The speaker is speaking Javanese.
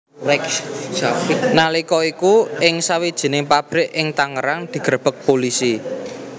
Nalika iku ing sawijining pabrik ing Tangerang digrebeg pulisi